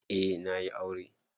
Eh na yi aure.